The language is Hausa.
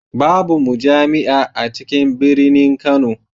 Babu mujami'a a cikin birinin Kano.